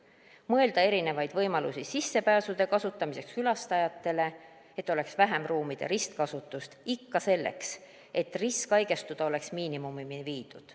Tuleks mõelda erinevaid võimalusi sissepääsude kasutamiseks külastajatele, et oleks vähem ruumide ristkasutust, ikka selleks, et risk haigestuda oleks miinimumini viidud.